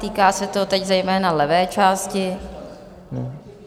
Týká se to teď zejména levé části.